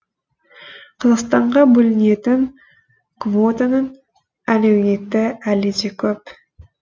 қазақстанға бөлінетін квотаның әлеуеті әлі де көп